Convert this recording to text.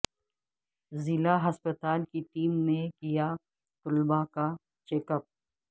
ضلع ہسپتال کی ٹیم نے کیا طلبہ کاچیک اپ